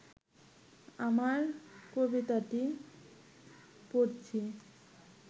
আমার কবিতাটি পড়ছি